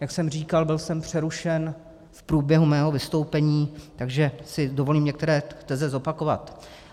Jak jsem říkal, byl jsem přerušen v průběhu svého vystoupení, takže si dovolím některé teze zopakovat.